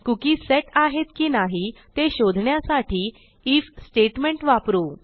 cookieसेट आहेत की नाही ते शोधण्यासाठी आयएफ स्टेटमेंट वापरू